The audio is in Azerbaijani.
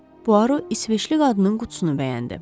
Puaro İsveçli qadının qutusunu bəyəndi.